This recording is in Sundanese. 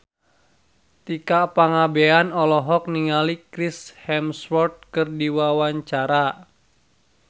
Tika Pangabean olohok ningali Chris Hemsworth keur diwawancara